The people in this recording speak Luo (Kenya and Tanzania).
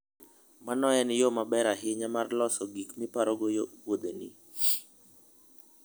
Mano en yo maber ahinya mar loso gik miparogo wuodheni.